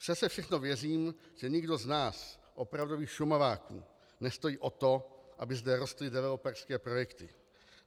Přese všechno věřím, že nikdo z nás, opravdových Šumaváků, nestojí o to, aby zde rostly developerské projekty.